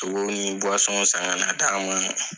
Sogow ni san ka na d'an ma